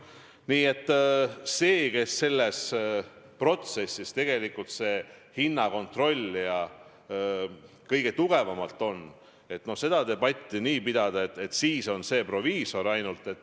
Nii et ei saa seda debatti, kes selles protsessis tegelikult kõige tugevamalt hinnakontrollija on, nii pidada, et see on siis ainult proviisor.